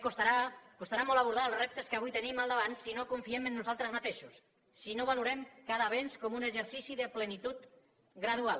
costarà molt abordar els reptes que avui tenim al davant si no confiem en nosaltres mateixos si no valorem cada avenç com un exercici de plenitud gradual